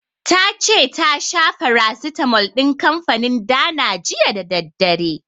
Ta ce ta sha farasitamol din kanfanin Dana jiya da daddare.